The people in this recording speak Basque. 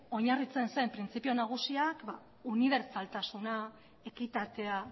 oinarritzen zen printzipio nagusia unibertsaltasuna ekitatea